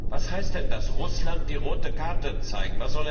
Was heißt denn das Russland die rote Karte zeigen?